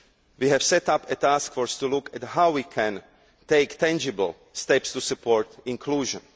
We have set up a task force to look at how we can take tangible steps to support inclusion.